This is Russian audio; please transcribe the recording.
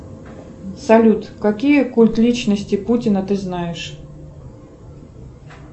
салют какие культы личности путина ты знаешь